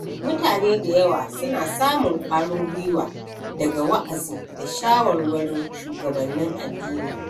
Mutane da yawa suna samun ƙwarin gwiwa daga wa’azi da shawarwarin shugabannin addini.